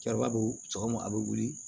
Cɛkɔrɔba bɛ sɔgɔma a bɛ wuli